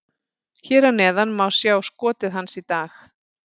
Hér að neðan má sjá skotið hans í dag: